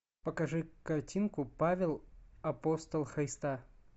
покажи картинку павел апостол христа